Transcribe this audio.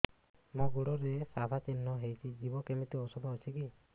ମୋ ଗୁଡ଼ରେ ସାଧା ଚିହ୍ନ ହେଇଚି ଯିବ କେମିତି ଔଷଧ କିଛି ଅଛି